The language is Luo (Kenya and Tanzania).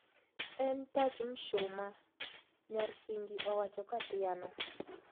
En tach mshumaa',nyar Kingi owacho kathiano